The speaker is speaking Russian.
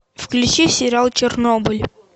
включи сериал чернобыль